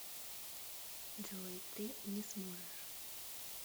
джой ты не сможешь